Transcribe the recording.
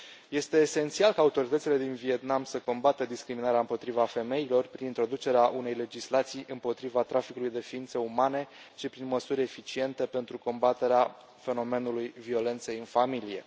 Este esențial ca autoritățile din Vietnam să combată discriminarea împotriva femeilor prin introducerea unei legislații împotriva traficului de ființe umane și prin măsuri eficiente pentru combaterea fenomenului violenței în familie.